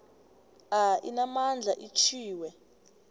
a inamandla atjhwiwe